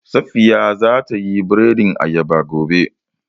Safiya za ta yi biredin ayaba gobe